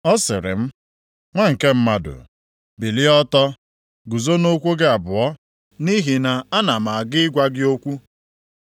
Ọ sịrị m, “Nwa nke mmadụ, bilie ọtọ, guzo nʼụkwụ gị abụọ, nʼihi na ana m aga ịgwa gị okwu.”